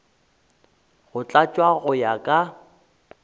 go tlatšwa go ya ka